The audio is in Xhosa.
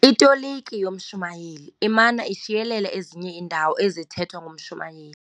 Itoliki yomshumayeli imana ishiyelela ezinye iidawo ezithethwe ngumshumayeli.